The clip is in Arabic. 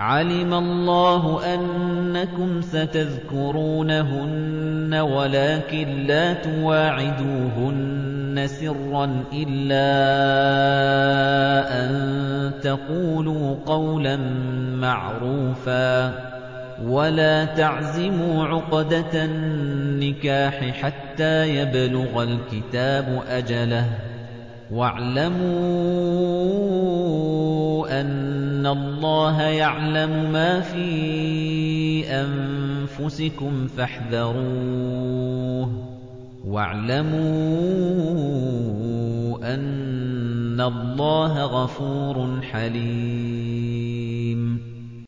عَلِمَ اللَّهُ أَنَّكُمْ سَتَذْكُرُونَهُنَّ وَلَٰكِن لَّا تُوَاعِدُوهُنَّ سِرًّا إِلَّا أَن تَقُولُوا قَوْلًا مَّعْرُوفًا ۚ وَلَا تَعْزِمُوا عُقْدَةَ النِّكَاحِ حَتَّىٰ يَبْلُغَ الْكِتَابُ أَجَلَهُ ۚ وَاعْلَمُوا أَنَّ اللَّهَ يَعْلَمُ مَا فِي أَنفُسِكُمْ فَاحْذَرُوهُ ۚ وَاعْلَمُوا أَنَّ اللَّهَ غَفُورٌ حَلِيمٌ